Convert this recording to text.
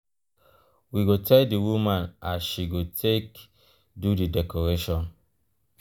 we go tell di woman as she go take do di decoration.